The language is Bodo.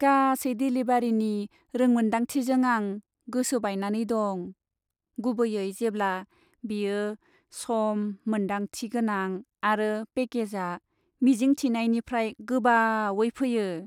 गासै देलिभारिनि रोंमोनदांथिजों आं गोसो बायनानै दं, गुबैयै जेब्ला बेयो सम मोनदांथि गोनां आरो पेकेजआ मिजिंथिनायनिफ्राय गोबावै फैयो।